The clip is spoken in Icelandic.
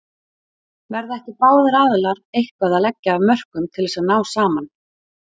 Verða ekki báðir aðilar eitthvað að leggja af mörkum til þess að ná saman?